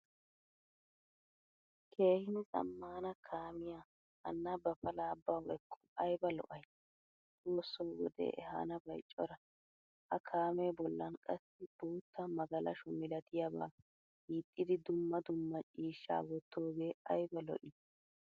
Keehin zamaana kaamiyaa hana ba pala bawu ekku ayba lo'ay? Xoossoo wode ehanabay cora. Ha kaame bollan qassi boottaa magalasho milattiyaba hiixxidi dumma dumma ciishshaa wottoge ayba lo'i?